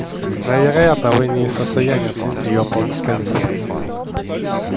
но вероятно вы не в состоянии оценить её по достоинству